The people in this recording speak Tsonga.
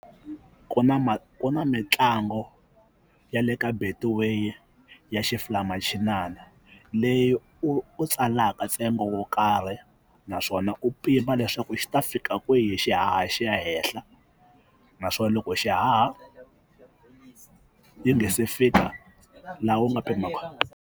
Ku na ku na mitlango ya le ka betway ya xifulayimachinana leyi u tsalaka ntsengo wo karhi naswona u pima leswaku xi ta fika kwihi xihaha xi ya hehla naswona loko xihaha yi nga se fika laha u nga .